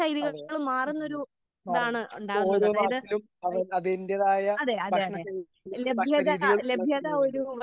അതെ പിന്നെ ഓരോ നാട്ടിലും അവൻ അതിന്റേതായ ഭക്ഷണ ഭക്ഷണ രീതികള് ഇണ്ട്.